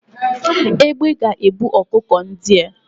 Egbé ga ebu ọkụkọ ndịa